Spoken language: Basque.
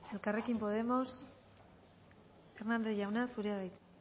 elkarrekin podemos hernández jauna zurea da hitza